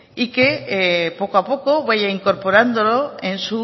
y que poco a poco vaya incorporándolo